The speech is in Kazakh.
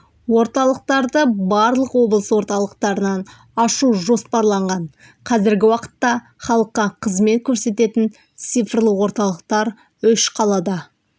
орталықтарды барлық облыс орталықтарынан ашу жоспарланған қазіргі уақытта халыққа қызмет көрсететін цифрлық орталықтар үш қалада